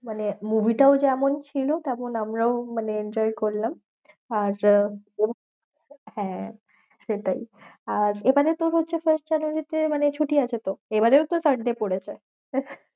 মানে movie টাও যেমন ছিল তেমন আমরাও মানে enjoy করলাম। আর আহ হ্যাঁ সেটাই, আর এখানে তোর হচ্ছে first জানুয়ারী তে মানে ছুটি আছে তো? এবারেও তো sunday পড়েছে